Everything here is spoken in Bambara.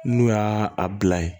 N'u y'a a bila ye